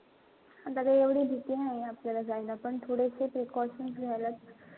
आता काई एवढी भीती नाई आपल्याला जायला पण थोडं इथे precautions घ्यायला.